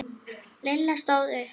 Lilla stóð upp.